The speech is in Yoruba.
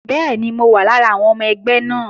Bẹ́ẹ̀ni, mo wà lára àwọn ọmọ ẹgbẹ́ wọn